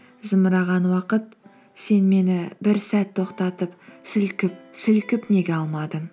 зымыраған уақыт сен мені бір сәт тоқтатып сілкіп сілкіп неге алмадың